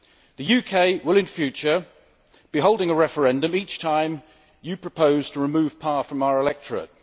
The UK will in future be holding a referendum each time the EU proposes to remove power from its electorate.